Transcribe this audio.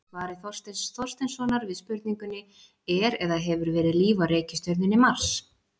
Í svari Þorsteins Þorsteinssonar við spurningunni Er eða hefur verið líf á reikistjörnunni Mars?